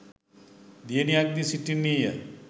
දියණියක්ද සිටින්නීය